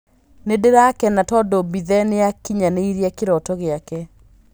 "Nĩndĩrakena tondũ Mbithe nĩakinyanĩirie kĩroto gĩake".